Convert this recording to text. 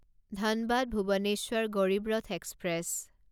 Dhanbad Bhubaneswar Garib Rath express